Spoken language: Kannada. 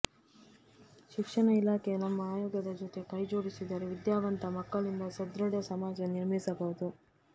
ಶಿಕ್ಷಣ ಇಲಾಖೆ ನಮ್ಮ ಆಯೊಗದ ಜೊತೆ ಕೈ ಜೋಡಿಸಿದರೆ ವಿದ್ಯಾವಂತ ಮಕ್ಕಳಿಂದ ಸದೃಢ ಸಮಾಜ ನಿರ್ಮಿಸಬಹುದು